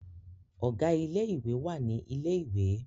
Ọ̀gá ilé ìwé wà ní ilẹ̀ ìwé